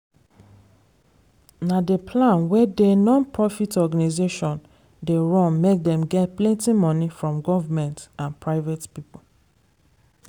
na dey plan wey d non profit organisation dey run make dem get plenty money from government and private people.